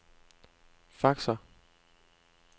faxer